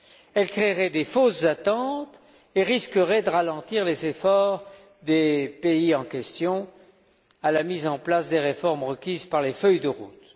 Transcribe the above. Elle créerait de fausses attentes et risquerait de ralentir les efforts des pays en question pour la mise en place des réformes requises par les feuilles de route.